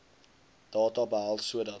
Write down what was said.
data behels sodat